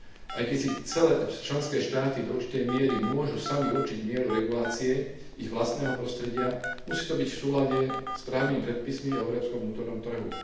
Aj keď si členské štáty do určitej miery môžu samy určiť mieru regulácie ich vlastného prostredia, musí to byť v súlade s právnymi predpismi o európskom vnútornom trhu.